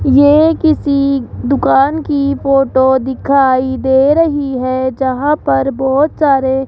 ये किसी दुकान की फोटो दिखाई दे रही है जहां पर बहोत सारे --